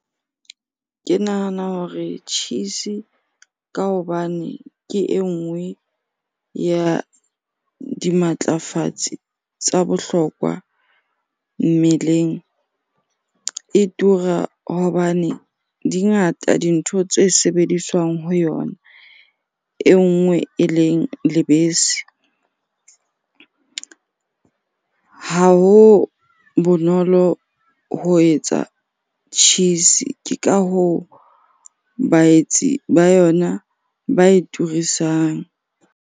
Ke nahana hore cheese-e ka hobane ke e nngwe ya dimatlafatsi tsa bohlokwa mmeleng. E tura hobane dingata dintho tse sebediswang ho yona, e nngwe eleng lebese. Ha ho bonolo ho etsa cheese-e, ke ka hoo baetsi ba yona ba e turisang.